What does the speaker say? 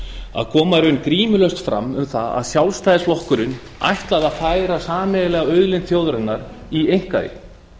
að koma í raun grímulaust fram um það að sjálfstæðisflokkurinn ætlaði að færa sameiginlega auðlind þjóðarinnar í einkaeign